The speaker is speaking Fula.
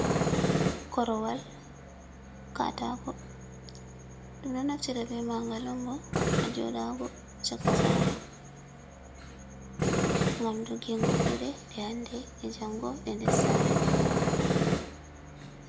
Korowal katako, ɗum ɗo naftira be ma'ga on bo hajoɗago chaka sa're gam dogingo kuɗe ɗe hande e jango ɗe de sare.